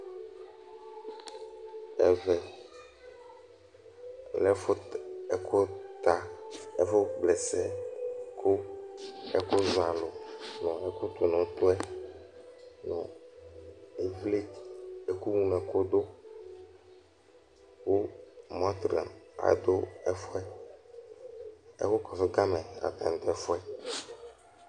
Ɛvɛ lɛ ɛfut ɛku ta, ɛfu kpa ɛsɛ Ku ɛkuzɔalu nu ɛu ɛkutunu-utu yɛ, nu iʋli, ɛkuŋlɔɛkuɖu, Ku montrə aɖu ɛfu yɛ Ɛkukɔsugamɛ atani ɛfu yɛ